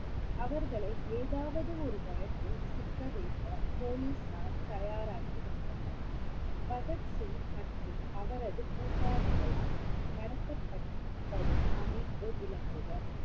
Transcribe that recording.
அவர்களை ஏதாவது ஒரு வழக்கில் சிக்க வைக்க போலிசார் தயாராகி வந்தனர் பகத்சிங் மற்றும் அவரது கூட்டாளிகளால் நடத்தப்பட்~ படும் அமைப்பு விளக்குக